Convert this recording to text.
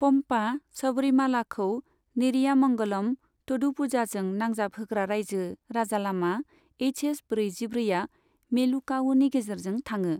पम्पा, सबरिमालाखौ नेरियामंगलम, थ'डुपुझाजों नांजाब होग्रा रायजो राजालामा एसएच ब्रैजि ब्रै आ मेलुकावुनि गेजेरजों थाङो।